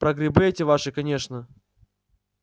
про грибы эти ваши конечно